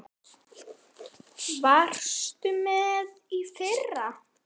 Varstu með í fyrra?